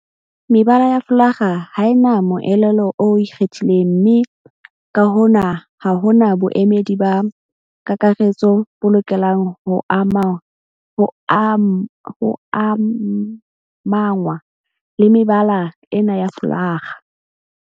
Mebala ya folakga ha e na moelelo o ikgethileng mme ka hona ha ho na boemedi ba kakaretso bo lokelang ho amangwa le mebala ena ya folakga.